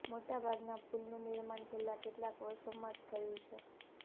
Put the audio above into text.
મોટા ભાગના પુલનું નિર્માણ છેલ્લાં કેટલાંક વર્ષોમાં જ થયું છે